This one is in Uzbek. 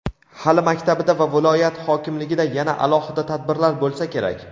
Hali maktabida va viloyat hokimligida yana alohida tadbirlar bo‘lsa kerak.